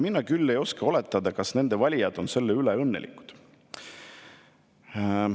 Mina küll ei oska oletada, kas nende valijad on selle üle õnnelikud.